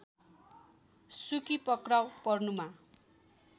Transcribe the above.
सुकी पक्राउ पर्नुमा